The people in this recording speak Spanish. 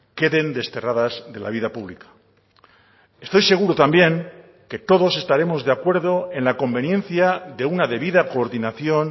queden desterradas de la vida pública estoy seguro también que todos estaremos de acuerdo en la conveniencia de una debida coordinación